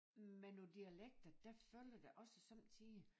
Med nogen dialekter der følger der også sommetider